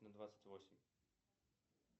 на двадцать восемь